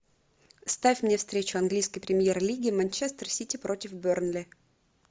ставь мне встречу английской премьер лиги манчестер сити против бернли